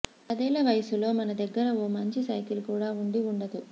పదేళ్ల వయస్సులో మన దగ్గర ఓ మంచి సైకిల్ కూడా ఉండి ఉండదు